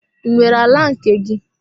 I nwere ala nke gị?